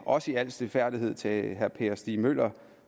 også i al stilfærdighed til herre per stig møller